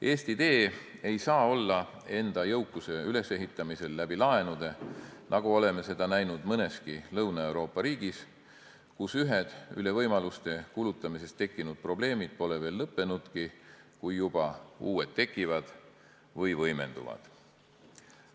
Eesti tee ei saa olla enda jõukuse ülesehitamine laenude abil, nagu oleme seda näinud mõneski Lõuna-Euroopa riigis, kus ühed üle võimaluste kulutamisest tekkinud probleemid pole veel lõppenudki, kui juba uued tekivad või võimenduvad.